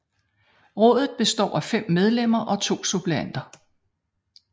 Rådet består af 5 medlemmer og 2 suppleanter